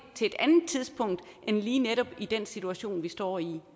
til et andet tidspunkt end lige netop den situation vi står i